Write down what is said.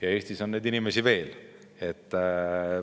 Ja Eestis on neid inimesi veel.